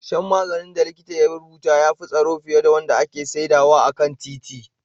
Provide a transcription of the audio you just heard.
Shan maganin da likita ya rubuta ya fi tsaro fiye da wanda ake sayarwa a kan titi